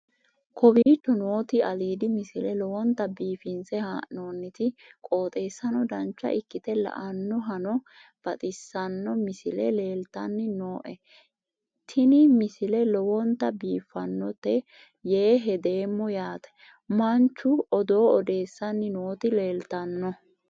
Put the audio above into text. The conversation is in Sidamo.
kowicho nooti aliidi misile lowonta biifinse haa'noonniti qooxeessano dancha ikkite la'annohano baxissanno misile leeltanni nooe ini misile lowonta biifffinnote yee hedeemmo yaate manchu odoo odeessanni nooti leltanno